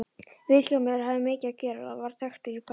Vilhjálmur hafði mikið að gera og varð þekktur í bænum.